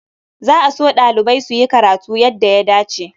Za a so ɗalibai su yi karatu yadda ya dace.